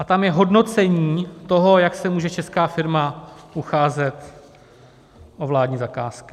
A tam je hodnocení toho, jak se může česká firma ucházet o vládní zakázky.